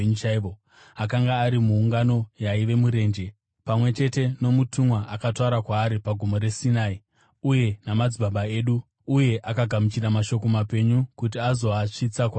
Akanga ari muungano yaiva murenje, pamwe chete nomutumwa akataura kwaari paGomo reSinai, uye namadzibaba edu; uye akagamuchira mashoko mapenyu kuti azoasvitsa kwatiri.